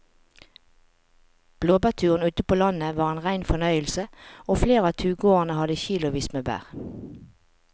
Blåbærturen ute på landet var en rein fornøyelse og flere av turgåerene hadde kilosvis med bær.